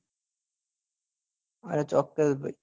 હા ચોક્કસ ભાઈ